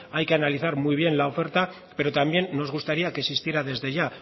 hay que analizar muy bien la oferta pero también nos gustaría que existiera desde ya